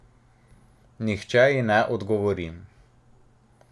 Nihče ji ne odgovori.